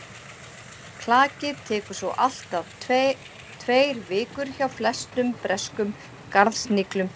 klakið tekur svo allt að tveir vikur hjá flestum breskum garðsniglum